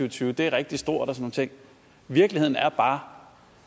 og tyve er rigtig stort og nogle ting virkeligheden er bare